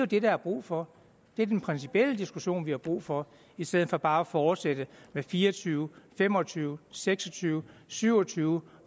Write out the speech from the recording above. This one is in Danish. det der er brug for det er den principielle diskussion vi har brug for i stedet for bare at fortsætte med fire og tyve fem og tyve seks og tyve syv og tyve